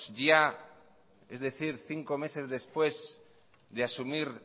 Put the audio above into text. ya es decir cinco meses después de asumir